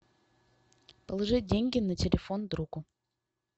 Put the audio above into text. положить деньги на телефон другу